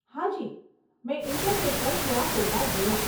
હાજી, મેં ઈન્ટરનેટ પર થોડાં ફોટાં જોયાં.